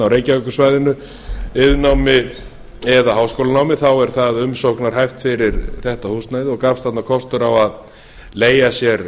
reykjavíkursvæðinu iðnnámi eða háskólanámi þá er það umsóknarhæft fyrir þetta húsnæði og gafst þarna kostur á að leigja sér